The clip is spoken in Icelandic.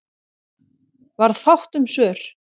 Varð fátt um svör.